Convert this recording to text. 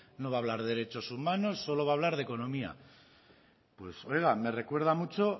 no va hablar de derechos humanos solo va hablar de economía pues oiga me recuerda mucho